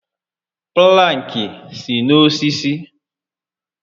Plankị si n'osisi